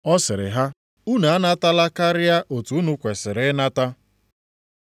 Ọ sịrị ha, “Unu anatala karịa otu unu kwesiri ịnata.”